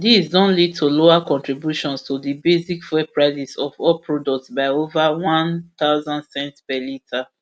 dis don lead to lower contributions to di basic fuel prices of all products by over one thousand cents per litre